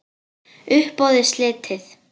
Uppboði slitið.